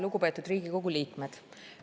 Lugupeetud Riigikogu liikmed!